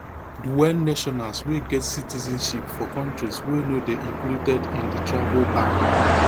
dual nationals wey get citizenship for kontris wey no dey included in di travel ban